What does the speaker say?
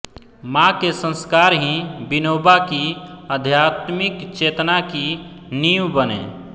मां के संस्कार ही विनोबा की आध्यात्मिक चेतना की नींव बने